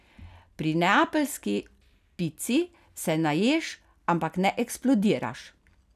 Pri neapeljski pici se naješ, ampak ne eksplodiraš.